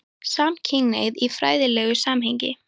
SAMKYNHNEIGÐ Í FRÆÐILEGU SAMHENGI